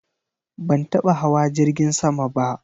Ban taba hawa jirgin sama ba.